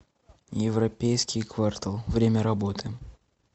европейский квартал время работы